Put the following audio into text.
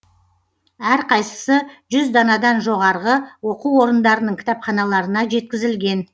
әрқайсысы жүз данадан жоғарғы оқу орындарының кітапханаларына жеткізілген